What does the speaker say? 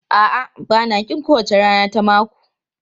A'a, ba na ƙin kowace rana ta mako.